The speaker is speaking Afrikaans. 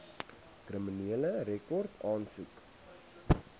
kriminele rekord aansoek